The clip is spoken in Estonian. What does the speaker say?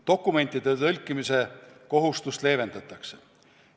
Dokumentide tõlkimise kohustust leevendatakse.